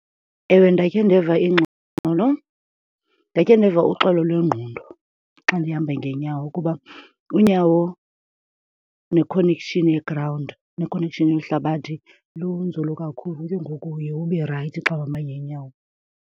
Ewe, ndakhe ndeva ingxolo, ndakhe ndeva uxolo lwengqondo xa ndihamba ngeenyawo kuba unyawo ne-connection ye-ground, ne-connection yohlabathi, lunzulu kakhulu. Ke ngoku uye ube rayithi xa uhamba ngeenyawo.